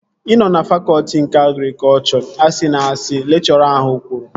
Ị nọ na fakọtị nke agrikọchọ. Asịna asị! Lekchọra ahụ kwuru